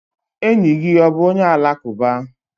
Enyi gị ọ bụ onye alakụba?